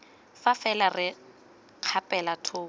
fa fela re kgapela thoko